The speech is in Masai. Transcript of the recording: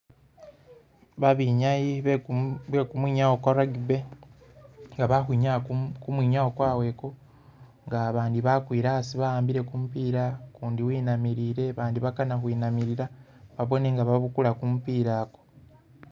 Babenyayi beku bekumwinyawo kwa rugby nga bali khukhwinyaa kumumu kumwinyawo kwabwe nga bandi bakwile asi baambile kumupila kundi wenamilile abandi bakanakhwinamilila babone nga babukula kumupila ku